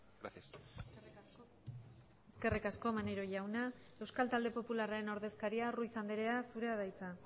gracias eskerrik asko maneiro jauna euskal talde popularraren ordezkaria ruiz andrea zurea da hitza